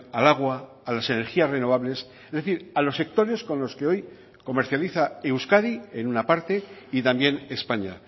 al agua a las energías renovables es decir a los sectores con los que hoy comercializa euskadi en una parte y también españa